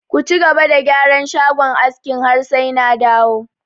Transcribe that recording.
Ka cigaba da gyaran shagon askin har sai na dawo!